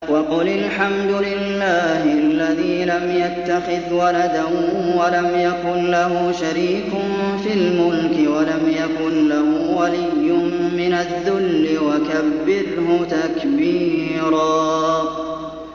وَقُلِ الْحَمْدُ لِلَّهِ الَّذِي لَمْ يَتَّخِذْ وَلَدًا وَلَمْ يَكُن لَّهُ شَرِيكٌ فِي الْمُلْكِ وَلَمْ يَكُن لَّهُ وَلِيٌّ مِّنَ الذُّلِّ ۖ وَكَبِّرْهُ تَكْبِيرًا